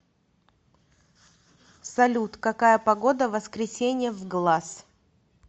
салют какая погода в воскресенье в глаз